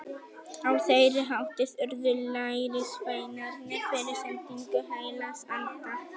Á þeirri hátíð urðu lærisveinarnir fyrir sendingu heilags anda.